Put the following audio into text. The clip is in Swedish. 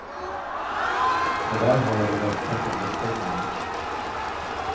Och där har jag de bästa soluppgångarna.